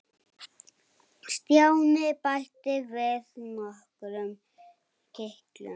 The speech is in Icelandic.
Stjáni bætti við nokkrum kitlum.